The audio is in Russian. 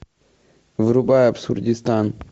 врубай абсурдистан